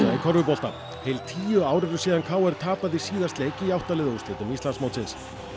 körfubolta tíu ár eru síðan k r tapaði síðast leik í átta liða úrslitum Íslandsmótsins